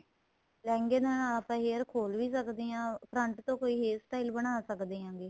ਲਹਿੰਗੇ ਦੇ ਨਾਲ ਆਪਾਂ hair ਖੋਲ ਵੀ ਸਕਦੇ ਹਾਂ front ਤੋ ਕੋਈ hair style ਬਣਾ ਸਕਦੇ ਹੈਗੇ